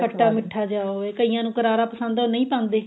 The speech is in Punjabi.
ਖੱਟਾ ਮਿਠਾ ਜਿਆ ਹੋਵੇ ਕਈਆਂ ਨੂੰ ਕਰਾਰਾ ਪਸੰਦ ਉਹ ਨਹੀਂ ਪਾਉਂਦੇ